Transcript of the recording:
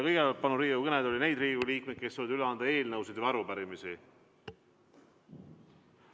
Kõigepealt palun Riigikogu kõnetooli neid Riigikogu liikmeid, kes soovivad üle anda eelnõusid või arupärimisi.